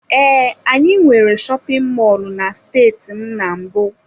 Ee, anyị nwere shopin mọlụ na steeti m na mbụ.